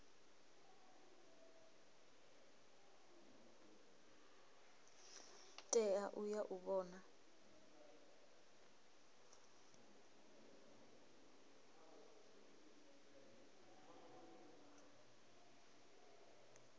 tea u ya u vhona